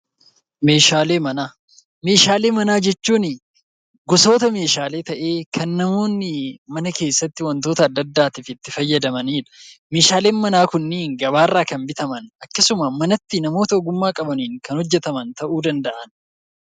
Meeshaalee manaa Meeshaalee manaa jechuun gosoota meeshaalee ta'ee, kan namoonni mana keessatti wantoota adda addaatiif itti fayyadamani dha. Meeshaaleen manaa kunniin gabaa irraa kan bitaman akkasuma manatti namoota ogummaa qabaniin kan hojjetaman ta'uu danda'a.